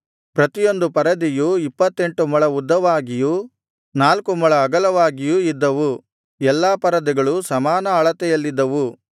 ಪ್ರತಿಯೊಂದು ಪರದೆಯು ಇಪ್ಪತ್ತೆಂಟು ಮೊಳ ಉದ್ದವಾಗಿಯೂ ನಾಲ್ಕು ಮೊಳ ಅಗಲವಾಗಿಯೂ ಇದ್ದವು ಎಲ್ಲಾ ಪರದೆಗಳು ಸಮಾನ ಅಳತೆಯಲ್ಲಿದ್ದವು